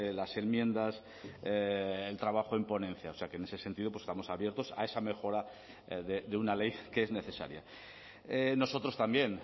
las enmiendas el trabajo en ponencia o sea que en ese sentido estamos abiertos a esa mejora de una ley que es necesaria nosotros también